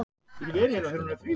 Takk fyrir skilaboðin.